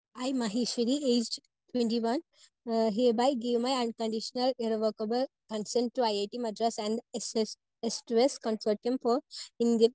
speaker 1 I Maheshwari age twenty one uh hereby give my unconditional irrevocable concern to I I T Madras, and S S S to S consortium for Indian